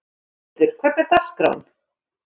Magnhildur, hvernig er dagskráin?